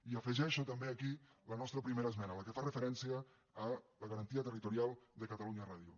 i afegeixo també aquí la nostra primera esmena la que fa referència a la garantia territorial de catalunya ràdio